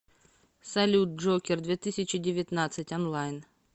салют джокер две тысячи девятнадцать онлайн